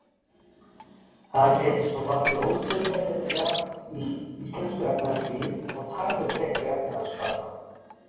Það gæti svo valdið óstöðugleika í íslensku efnahagslífi og tafið frekari efnahagsbata.